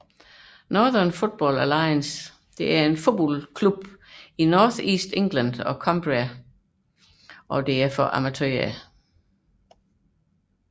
Northern Football Alliance er en fodboldliga i North East England og Cumbria i England for amatørhold